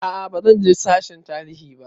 A'a bazan je sashen tarihi ba